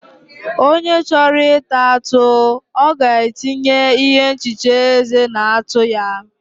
onye chọrọ ịta atụ, ọ ga-etinye ihe nhicha eze na atụ ya.